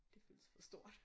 Det føles for stort